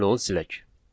Gəlin onu silək.